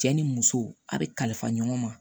Cɛ ni muso a be kalifa ɲɔgɔn ma